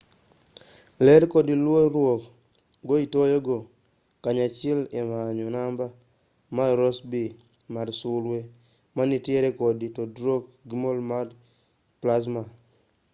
ler kod luor-ruok go itiyogo kanyachiel e manyo namba mar rossby mar sulwe manitiere kod tudruok gi mol mar plasma